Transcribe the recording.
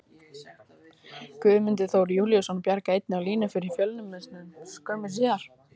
Guðmundur Þór Júlíusson bjargaði einnig á línu fyrir Fjölnismenn skömmu síðar.